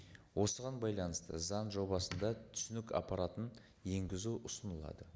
осыған байланысты заң жобасында түсінік аппаратын енгізу ұсынылады